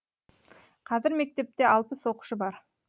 қазір мектепте алпыс оқушы бар